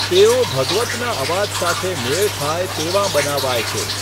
તેઓ ભગવતના અવાજ સાથે મેળ ખાય તેવાં બનાવાય છે.